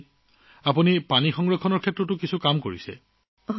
বাৰু কল্যাণীজী আপুনি পানী সংৰক্ষণৰ কিবা কাম কৰিছেনে তাত কি কৰিলে